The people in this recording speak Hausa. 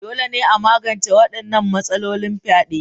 Dole ne a magance wadannan matsalolin fyade.